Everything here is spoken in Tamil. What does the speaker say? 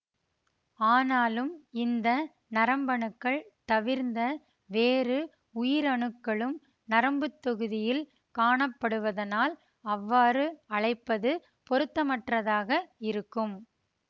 ஆனாலும் இந்த நரம்பணுக்கள் தவிர்ந்த வேறு உயிரணுக்களும் நரம்புத் தொகுதியில் காணப்படுவதனால் அவ்வாறு அழைப்பது பொருத்தமற்றதாக இருக்கும்